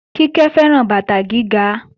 Kíkẹ́ fẹ́ràn bàtà gíga